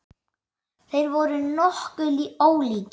Þeir voru nokkuð ólíkir.